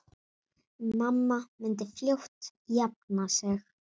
Mamma myndi fljótt jafna sig.